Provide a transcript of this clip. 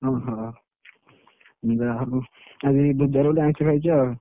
ଓହୋ ଯାହାହଉ ଆଜି ଜୁଆଡୁ ଗୋଟେ ଆଇଁଷ ଖାଇଛ